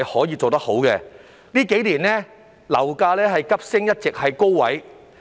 在這數年間，樓價急升，並一直處於高位。